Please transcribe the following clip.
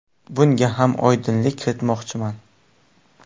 Bunga ham oydinlik kiritmoqchiman.